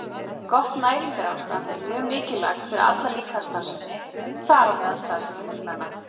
Gott næringarástand er mjög mikilvægt fyrir alla líkamsstarfsemi, þar á meðal starfsemi lungnanna.